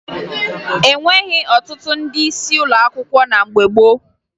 E nweghi ọtụtụ ndị isi ụlọ akwụkwọ na mgbe gboo